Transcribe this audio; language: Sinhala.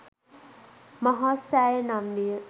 මහා සෑය නම් විය.